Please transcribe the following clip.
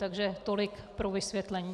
Takže tolik pro vysvětlení.